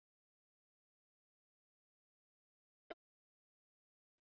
Það sló þögn á samkomuna þegar hann birtist allt í einu.